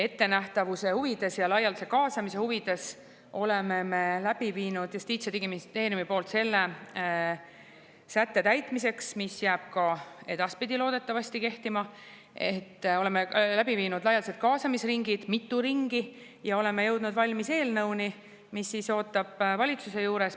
Ettenähtavuse huvides ja laialdase kaasamise huvides oleme Justiits- ja Digiministeeriumis selle sätte täitmiseks, mis jääb ka edaspidi loodetavasti kehtima, teinud laialdased kaasamisringid – mitu ringi – ja oleme jõudnud valmis eelnõuni, mis ootab valitsuse juures.